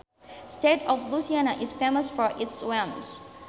state of Louisiana is famous for its swamps